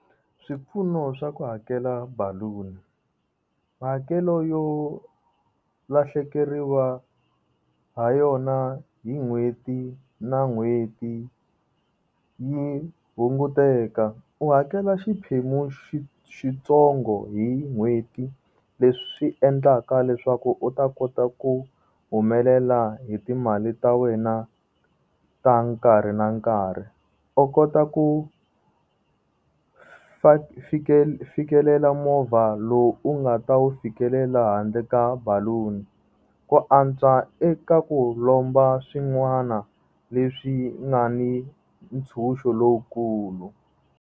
Swipfuno swa ku hakela baluni hakelo yo lahlekeriwa ha yona hi n'hweti na n'hweti yi hunguteka u hakela xiphemu xitsongo hi n'hweti leswi endlaka leswaku u ta kota ku humelela hi timali ta wena ta nkarhi na nkarhi u kota ku fikelela movha lowu u nga ta wu fikelela handle ka baluni. Ku antswa eka ku lomba swin'wana leswi nga ni ntshuxo lowukulu.